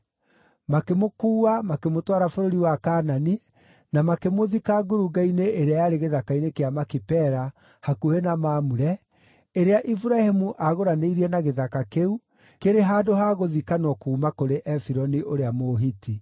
Makĩmũkuua makĩmũtwara bũrũri wa Kaanani, na makĩmũthika ngurunga-inĩ ĩrĩa yarĩ gĩthaka-inĩ kĩa Makipela, hakuhĩ na Mamure, ĩrĩa Iburahĩmu aagũranĩirie na gĩthaka kĩu kĩrĩ handũ ha gũthikanwo kuuma kũrĩ Efironi ũrĩa Mũhiti.